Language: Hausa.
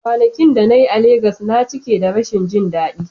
Kwanakin da na yi a Legas na cike da rashin jin daɗi.